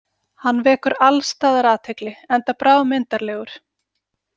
Hann vekur alls staðar athygli, enda bráðmyndarlegur.